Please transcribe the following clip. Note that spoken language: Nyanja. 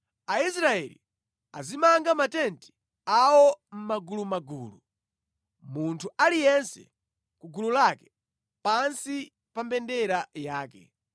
Aisraeli azimanga matenti awo mʼmagulumagulu, munthu aliyense ku gulu lake pansi pa mbendera yake.